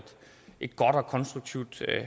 et godt og konstruktivt